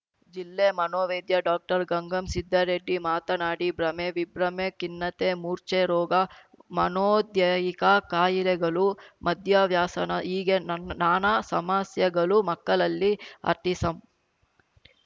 ಜಿಲ್ಲೆ ಮನೋವೈದ್ಯ ಡಾಕ್ಟರ್ಗಂಗಂ ಸಿದ್ಧಾರೆಡ್ಡಿ ಮಾತನಾಡಿ ಭ್ರಮೆ ವಿಭ್ರಮೆ ಖಿನ್ನತೆ ಮೂರ್ಛೆ ರೋಗ ಮನೋದೈಹಿಕ ಕಾಯಿಲೆಗಳು ಮದ್ಯವ್ಯಾಸನ ಹೀಗೆ ನನ್ನ ನಾನಾ ಸಮಸ್ಯೆಗಳು ಮಕ್ಕಳಲ್ಲಿ ಆಟಿಸಂ